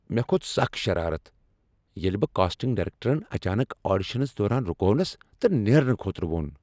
مےٚ كھوت سخ شرارت ییٚلہ بہٕ کاسٹنٛگ ڈایرٮ۪کٹرن اچانک آڈیشنس دوران رُکونس تہٕ نیرنہٕ خٲطرٕ وون ۔